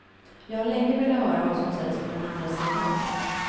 Jag har länge velat höra vad som sägs på den andra sidan.